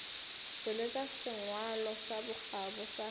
tšweletša sengwalo sa bokgabo sa